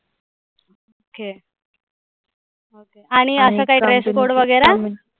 Okay आणि आता काय dress code वगैरा.